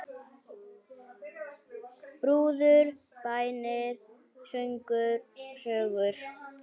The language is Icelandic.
Brúður, bænir, söngur, sögur.